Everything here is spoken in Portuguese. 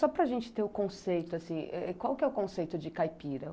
Só para gente ter o conceito, assim, qual que é o conceito de caipira?